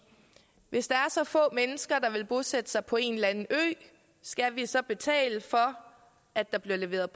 hvis der er så få mennesker der vil bosætte sig på en eller anden ø skal vi så betale for at der bliver leveret